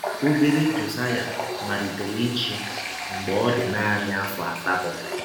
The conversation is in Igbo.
Ọbere Jọsaya malitere ịchị mgbe ọ dị naanị afọ asatọ.